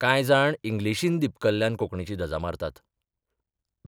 कांय जाण इंग्लिशीन दिपकल्ल्यान कोंकणीची धजा मारतात.